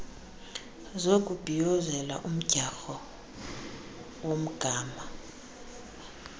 zokubhiyizela umdyarho womgama